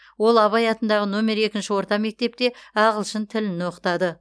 ол абай атындағы нөмір екінші орта мектепте ағылшын тілін оқытады